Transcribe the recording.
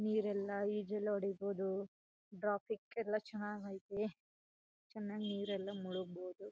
ನೀರೆಲ್ಲ ಈಜೇಲ್ಲ ಹೊಡೀಬೋದು ಡ್ರಾ ಪಿಕ್ ಎಲ್ಲ ಚನಗೈತೆ ಚೆನ್ನಾಗ್ ನೀರೆಲ್ಲ ಮುಳುಗ್ಬೋದು.